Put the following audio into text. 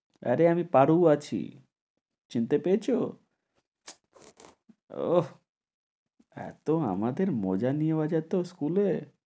আরে আমি পারু আছি, চিনতে পেয়েছ? ওহ! এত আমাদের মজা নেওয়া যেত school এ।